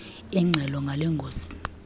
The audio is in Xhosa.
ingxelo ngale ngozi